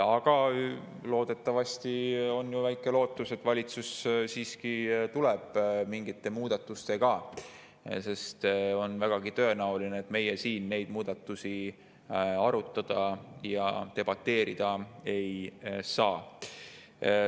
Aga ehk on väike lootus, et valitsus siiski tuleb välja mingite muudatustega, sest on vägagi tõenäoline, et meie siin neid muudatusi arutada ja nende üle debateerida ei saa.